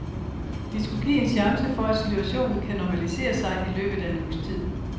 Det skulle give en chance for at situationen kan normalisere sig i løbet af en uges tid.